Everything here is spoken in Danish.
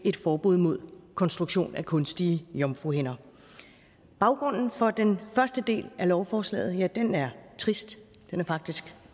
et forbud mod konstruktion af kunstige jomfruhinder baggrunden for den første del af lovforslaget er trist ja faktisk